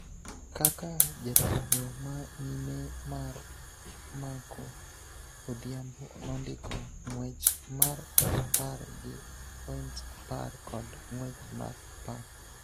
kaka jatugo ma nyime mar Marco Odhiambo nondiko ng�wech mar apar gi points apar kod ng�wech mar apar.